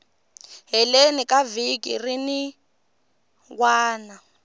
heleni ka vhiki rin wana